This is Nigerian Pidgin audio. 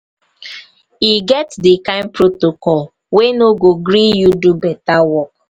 e get di kain protocol we no go gree you do beta work.